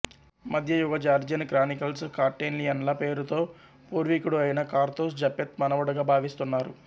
మధ్యయుగ Georgian chronicles కార్టెల్లియన్ల పేరుతో పూర్వీకుడు అయిన కార్తోస్ జపెత్ మనవడుగా భావిస్తున్నారు